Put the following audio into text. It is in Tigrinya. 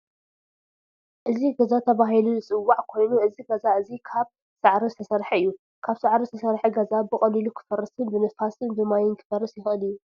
እዚ ገዛተባሂሉ ዝፅዋዕ ኮይኑ እዚ ገዛ እዚ ካብ ሳዕሪ ዝተሰረሐ እዩ። ካብ ሳዕሪ ዝተሰረሐ ገዛ ብቀሊሉ ክፈረስን ብንፋስን ብማይን ክፈርስ ይክእል እዩ።